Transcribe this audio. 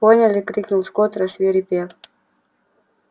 поняли крикнул скотт рассвирепев